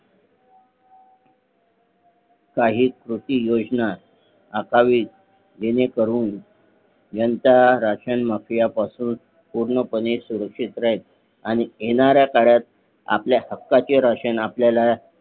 काही कृती योजना आखावीत जेणे करून जनता राशन माफिया पासून पूर्ण पणे सुरक्षित राहील आणि येणाऱ्या काळात आपल्या हक्काचे राशन आपल्याला